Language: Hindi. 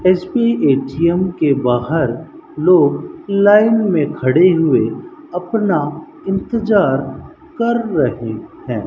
एस_पी ए_टी_एम के बाहर लोग लाइन मे खड़े हुए अपना इंतजार कर रहे हैं।